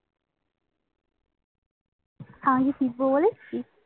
আমি কি শিখবো বলেছি